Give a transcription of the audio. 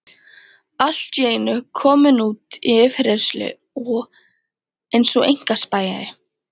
Allt í einu kominn út í yfirheyrslu eins og einkaspæjari.